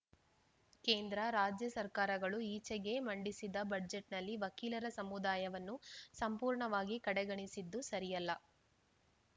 ಕೇಂದ್ರ ರಾಜ್ಯ ಸರ್ಕಾರಗಳು ಈಚೆಗೆ ಮಂಡಿಸಿದ ಬಜೆಟ್‌ನಲ್ಲಿ ವಕೀಲರ ಸಮುದಾಯವನ್ನು ಸಂಪೂರ್ಣವಾಗಿ ಕಡೆಗಣಿಸಿದ್ದು ಸರಿಯಲ್ಲ